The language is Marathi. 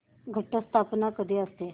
घट स्थापना कधी असते